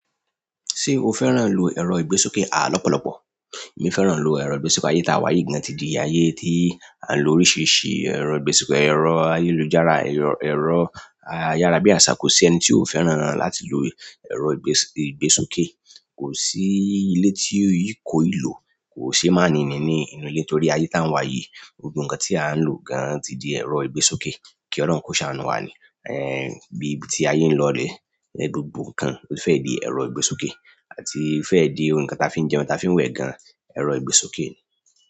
Ṣé o fẹ́ràn lò ẹ̀rọ ìgbésókè àà lọ́pọ̀lọ́pọ̀? Èmi fẹ́ràn lò ẹ̀rọ ìgbésókè ayé tá wà yìí gan ti di ayé tí à ń lò oríṣiríṣi ẹ̀rọ ìgbésókè. Ẹ̀rọ ayélujára, ẹ̀rọ ayárabíàṣá kò sí ẹni tí ó fẹ́ràn láti lò ẹ̀rọ ìgbésókè. Kò sí ilé tí ó yíko ìlò, kò sé má níni inú ilé torí ayé tá wà yìí gbogbo nkan tí a ń lò gan ti di ẹ̀rọ ìgbésókè. Kí Ọlọ́run kó ṣàánú wa ni. Eh bí ibi tí ayé ń lọ rè, gbogbo nkan ó fẹ́ di ẹ̀rọ ìgbésókè àti fẹ́ di ohun kan tí a fi ń jẹun tí a fi ń wẹ̀ gan, ẹ̀rọ ìgbésókè ni.